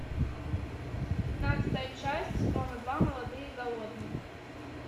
пятнадцатая часть сезона два молодые и голодные